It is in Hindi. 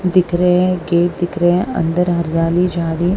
दिख रहे हैं गेट दिख रहे हैं अंदर हरियाली झाड़ी--